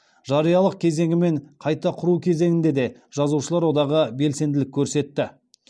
жариялық кезеңі мен қайта құру кезеңінде де жазушылар одағы белсенділік көрсетті